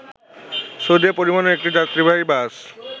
সৌদিয়া পরিবহনের একটি যাত্রীবাহী বাস